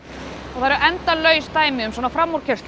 það eru endalaus dæmi um svona framúrkeyrslur